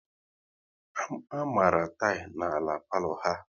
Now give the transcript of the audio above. A mara tilỊ na-ala palo ha